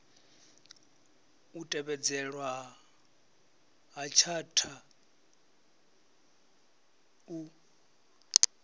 u tevhedzelwa ha tshatha u